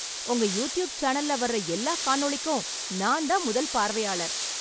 உங்க யூட்யூப் சேனல்ல வர்ற எல்லா காணொளிக்கும் நான் தான் முதல் பார்வையாளர்.